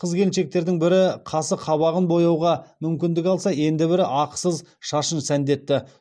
қыз келіншектердің бірі қасы қабағын бояуға мүмкіндік алса енді бірі ақысыз шашын сәндетті